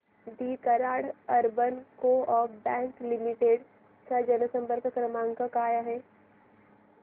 दि Karad urban co-op bank limited चा जनसंपर्क क्रमांक काय आहे